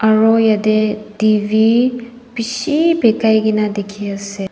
aru jatte T_V bisi pekai kini dekhi ase.